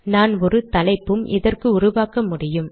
நான் ஒரு தலைப்பும் இதற்கு உருவாக்கமுடியும்